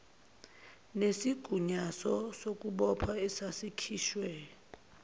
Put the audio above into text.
nesigunyaso sokubopha esasikhishwe